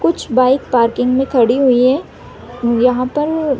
कुछ bike parking में खड़ी हुई है यहाँ पर--